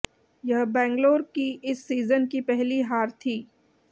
यह बैंगलोर की इस सीजन की पहली हार थी